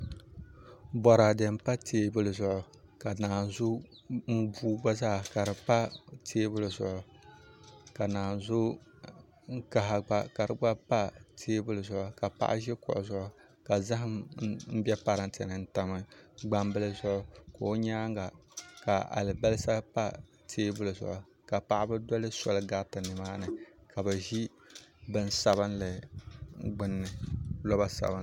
Boraadɛ n pa teebuli zuɣu ka naanzu buu gba zaa ka di pa teebuli zuɣu ka naazu kaha gba ka di gba pa teebuli zuɣu ka paɣa ʒi kuɣu zuɣu ka zaham bɛ parantɛ ni n tam gbambili zuɣu ka o nyaanga ka alibarisa pa teebuli zuɣu ka paɣaba doli soli gariti nimaani ka bi ʒi roba sabinli zuɣu